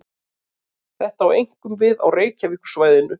Þetta á einkum við á Reykjavíkursvæðinu.